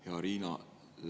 Hea Riina!